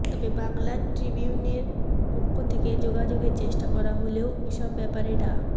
তবে বাংলা ট্রিবিউনের পক্ষ থেকে যোগাযোগের চেষ্টা করা হলেও এসব ব্যাপারে ডা